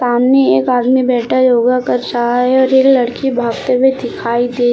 सामने एक आदमी बैठा योगा कर शायद ये लड़की भागते हुए दिखाई दे रही--